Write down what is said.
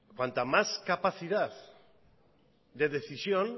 cuanta más capacidad de decisión